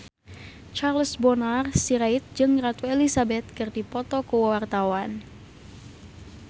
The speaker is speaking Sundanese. Charles Bonar Sirait jeung Ratu Elizabeth keur dipoto ku wartawan